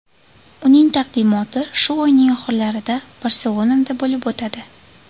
Uning taqdimoti shu oyning oxirlarida Barselonada bo‘lib o‘tadi.